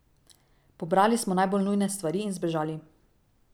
Pobrali smo najbolj nujne stvari in zbežali.